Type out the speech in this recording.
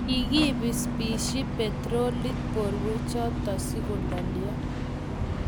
kiki pispisyi petrolit borwek choto sikulolio